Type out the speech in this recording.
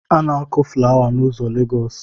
A na-akụ fụlawa n’ụzọ Legosi